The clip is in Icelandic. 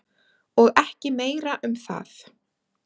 Og ekki meira um það.